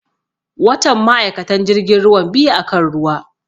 Watan ma'aikatan jirgin ruwan biyu akan ruwa